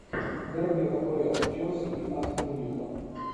дерби апл челси и астон вилла